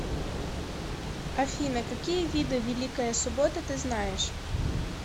афина какие виды великая суббота ты знаешь